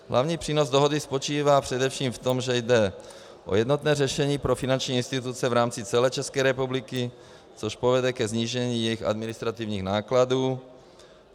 Hlavní přínos dohody spočívá především v tom, že jde o jednotné řešení pro finanční instituce v rámci celé České republiky, což povede ke snížení jejich administrativních nákladů.